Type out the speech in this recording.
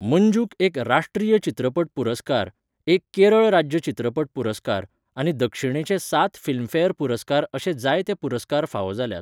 मंजूक एक राष्ट्रीय चित्रपट पुरस्कार, एक केरळ राज्य चित्रपट पुरस्कार आनी दक्षिणेचे सात फिल्मफेअर पुरस्कार अशे जायते पुरस्कार फावो जाल्यात.